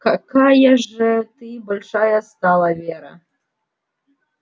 какая же ты большая стала вера